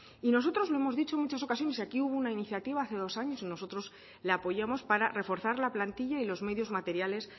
y nosotros lo hemos dicho en muchas ocasiones y aquí hubo una iniciativa hace dos años y nosotros la apoyamos para reforzar la plantilla y los medios materiales